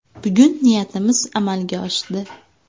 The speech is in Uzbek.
Bugun niyatimiz amalga oshdi.